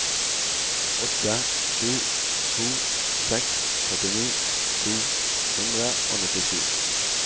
åtte sju to seks trettini to hundre og nittisju